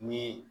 Ni